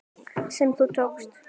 sem þú tókst.